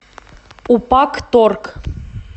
упакторг